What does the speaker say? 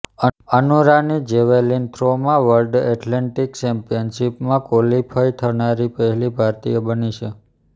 અનુ રાની જેવેલિન થ્રોમાં world athletics ચેમ્પિયનશીપમાં ક્વોલિફઇ થનારી પહેલી ભારતીય બની છે